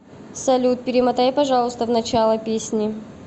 салют перемотай пожалуйста в начало песни